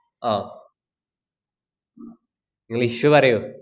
ആഹ് ങ്ങള് issue പറയൂ.